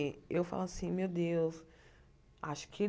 Eh eu falo assim meu Deus acho que